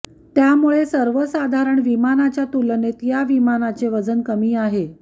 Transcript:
त्यामुळे सर्वसाधारण विमानाच्या तुलनेत या विमानाचे वजन कमी आहे